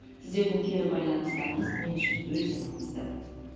сіздердің кері байланыстарыңыз мен үшін өте маңызды